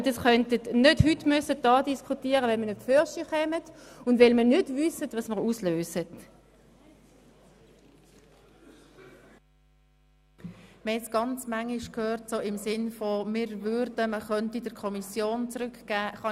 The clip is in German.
Handelt es sich um einen konkreten Antrag von Grossrat Klauser und Grossrätin Hässig, Artikel 39a in die Kommission zurückzugegeben?